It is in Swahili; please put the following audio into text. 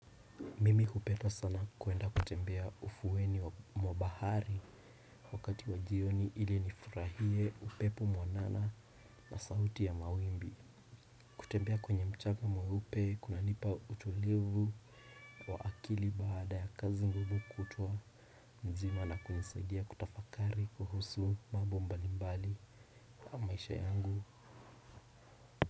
Mimi hupenda sana kuenda kutembea ufuweni wa mwa bahari wakati wa jioni ili nifurahie upepo mwanana na sauti ya mawimbi. Kutembea kwenye mchanga mweupe kunanipa utulivu wa akili baada ya kazi ngumu kutwa mzima na kunisaidia kutafakari kuhusu mambo mbalimbali ya maisha yangu.